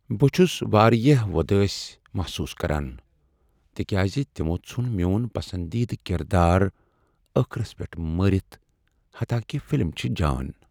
بہٕ چھُس وارِیاہ وۄدٲسۍ محصوص كران تکیاز تمو ژھُن میو٘ن پسندیدٕ كِردار ٲخرس پیٹھ مٲرِتھ حتاكہِ فِلم چھِ جان ۔